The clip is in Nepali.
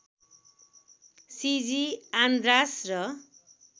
सिजी आन्ड्रास र